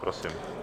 Prosím.